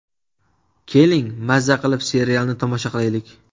Keling, maza qilib serialni tomosha qilaylik.